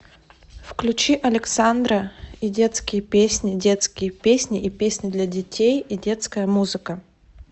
включи александра и детские песни детские песни и песни для детей и детская музыка